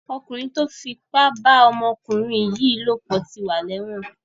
Ọkùnrin tó fipá bá ọmọkùnrin yìí lòpọ̀ ti wà lẹ́wọ̀n.